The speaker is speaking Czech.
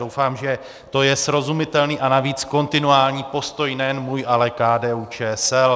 Doufám, že to je srozumitelný a navíc kontinuální postoj nejen můj, ale KDU-ČSL.